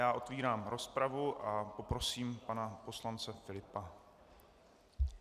Já otevírám rozpravu a poprosím pana poslance Filipa.